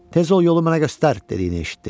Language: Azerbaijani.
Tez ol, yolu mənə göstər, dediyini eşitdi.